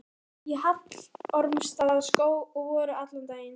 Þau fóru upp í Hallormsstaðarskóg og voru allan daginn.